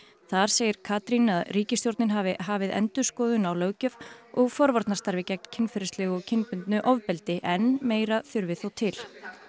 þar segir Katrín að ríkisstjórnin hafi hafið endurskoðun á löggjöf og forvarnarstarfi gegn kynferðislegu og kyndbundnu ofbeldi en meira þurfi þó til